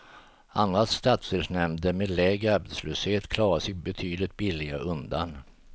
Andra stadsdelsnämnder, med lägre arbetslöshet, klarar sig betydligt billigare undan.